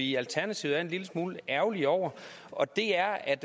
i alternativet er en lille smule ærgerlige over og det er at